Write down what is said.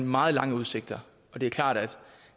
meget lange udsigter det er klart at